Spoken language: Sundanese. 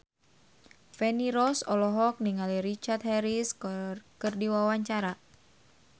Feni Rose olohok ningali Richard Harris keur diwawancara